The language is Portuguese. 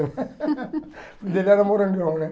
O apelido dele era morangão, né?